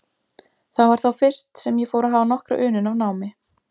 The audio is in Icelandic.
Það var þá fyrst, sem ég fór að hafa nokkra unun af námi.